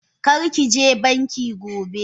Karkije banki gobe!